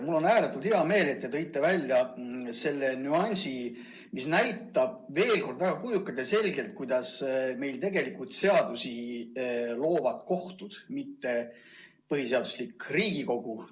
Mul on ääretult hea meel, et te tõite välja selle nüansi, mis näitab veel kord väga kujukalt ja selgelt, kuidas meil tegelikult loovad seadusi kohtud, mitte põhiseaduslik Riigikogu.